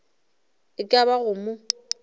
e ka ba go mo